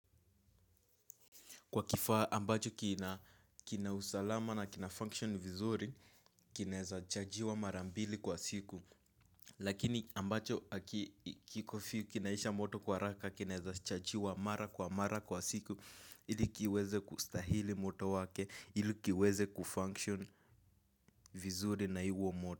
Kwa kifaa ambacho kina kina usalama na kina function vizuri kineza chajiwa marambili kwa siku. Lakini ambacho kinaisha moto kwa raka kineza chajiwa mara kwa mara kwa siku. Ili kiweze kustahili moto wake, ili kiweze kufunction vizuri na iwo moto.